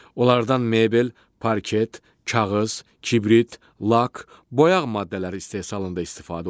Onlardan mebel, parket, kağız, kibrit, lak, boyaq maddələri istehsalında istifadə olunur.